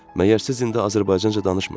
Məgər siz indi azərbaycanca danışmırsınız?